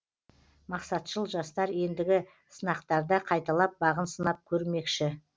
мақсатшыл жастар ендігі сынақтарда қайталап бағын сынап көрмекші